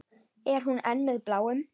Er hún enn með Bláum?